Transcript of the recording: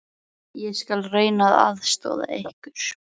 Ég skal reyna að aðstoða ykkur.